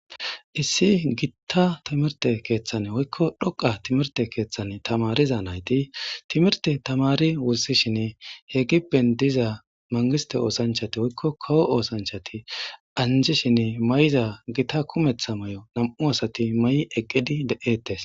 Issi gitta timirte keeththane woykko dhoqa timirte keeththane tamariza nayti timirte tamari wursishinne he gippen diza mangiste oosanchati woykko kawo oosanchati anjishinne may'iza gitta kumeththa may'o nam'u asati may'i eqqidi de'ettes.